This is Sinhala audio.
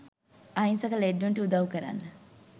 අහිංසක ලෙඩ්ඩුන්ට උදව් කරන්න